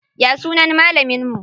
Ya sunan malamin mu?